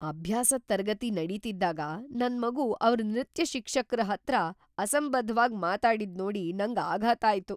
ಅಭ್ಯಾಸದ್ ತರಗತಿ‌ ನಡೀತಿದ್ದಾಗ ನನ್ಮಗು ಅವ್ರ್ ನೃತ್ಯ ಶಿಕ್ಷಕ್ರ ಹತ್ರ ಅಸಂಬದ್ಧವಾಗ್ ಮಾತಾಡಿದ್ನೋಡಿ ನಂಗ್ ಆಘಾತ ಆಯ್ತು.